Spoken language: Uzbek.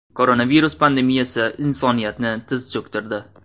Koronavirus pandemiyasi insoniyatni tiz cho‘ktirdi.